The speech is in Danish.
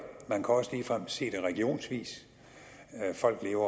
man kan også ligefrem se det regionsvis folk lever